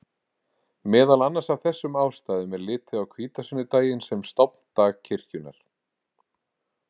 Meðal annars af þessum ástæðum er litið á hvítasunnudaginn sem stofndag kirkjunnar.